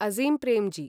Azim Premji